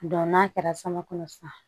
n'a kɛra sama kɔnɔ sisan